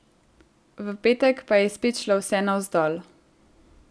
V petek pa je spet šlo vse navzdol.